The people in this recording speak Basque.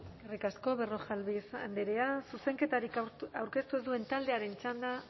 eskerrik asko berrojalbiz andrea zuzenketarik aurkeztu ez duen taldearen txanda